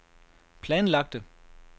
planlagte